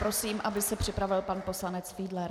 Prosím, aby se připravil pan poslanec Fiedler.